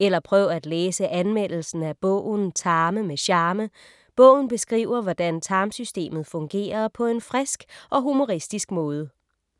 Eller prøv at læse anmeldelsen af bogen Tarme med charme. Bogen beskriver hvordan tarmsystemet fungerer på en frisk og humoristisk måde.